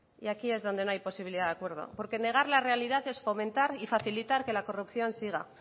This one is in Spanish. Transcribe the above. y aquí es donde no hay posibilidad de acuerdo porque negar la realidad es fomentar y facilitar que la corrupción siga